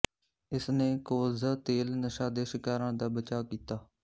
ਇਸਨੇ ਕੋਲਜ਼ਾ ਤੇਲ ਨਸ਼ਾ ਦੇ ਸ਼ਿਕਾਰਾਂ ਦਾ ਬਚਾਅ ਕੀਤਾ